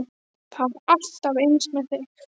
Það er alltaf eins með þig!